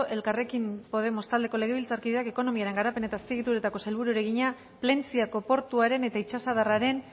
elkarrekin podemos taldeko legebiltzarkideak ekonomiaren garapen eta azpiegituretako sailburuari egina plentziako portuaren eta itsasadarraren